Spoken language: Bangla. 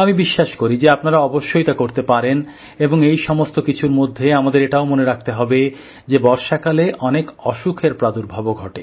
আমি বিশ্বাস করি যে আপনারা অবশ্যই তা করতে পারেন এবং এই সমস্ত কিছুর মধ্যে আমাদের এটাও মনে রাখতে হবে যে বর্ষাকালে অনেক অসুখের প্রাদুর্ভাবও ঘটে